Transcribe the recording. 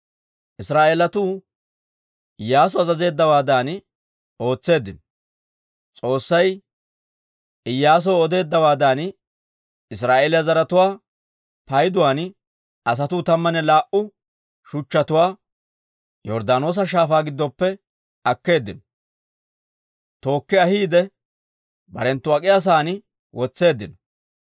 Israa'eelatuu Iyyaasu azazeeddawaadan ootseeddino. S'oossay Iyyaasoo odeeddawaadan, Israa'eeliyaa zaratuwaa payduwaan asatuu tammanne laa"u shuchchatuwaa Yorddaanoosa Shaafaa giddoppe akkeeddino; tookki ahiide, barenttu ak'iyaa sa'aan wotseeddino.